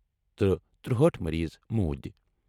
تہٕ ترٗوہأٹھ مریض موٗدۍ۔